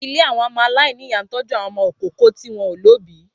Ilé àwọn ọmọ aláìníyà ń tọ́jú àwọn ọmọ ìkókó tí wọ́n ò lóbìí